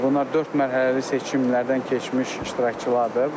Bunlar dörd mərhələli seçimlərdən keçmiş iştirakçılardır.